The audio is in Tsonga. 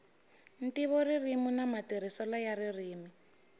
ntivoririmi na matirhiselo ya ririmi